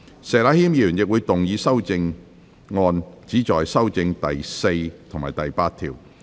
石禮謙議員亦會動議修正案，旨在修正第4及8條。